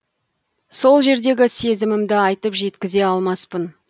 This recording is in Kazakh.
сол жердегі сезімімді айтып жеткізе алмаспын